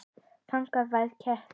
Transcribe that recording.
Þannig var Ketill.